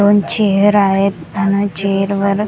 दोन चेअर आहेत अन चेअरवर .